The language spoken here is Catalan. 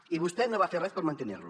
i vostè no va fer res per mantenir la